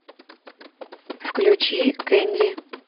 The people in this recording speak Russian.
включи кэнди